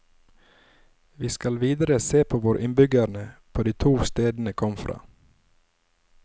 Vi skal videre se på hvor innbyggerne på de to stedene kom fra.